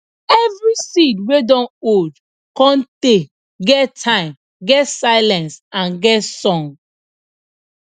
every seed wey dun old cun tay get time get silence and get song